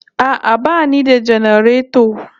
A'a bani da janareto